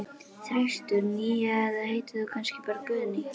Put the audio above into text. þristur, nía eða heitir þú kannski bara Guðný?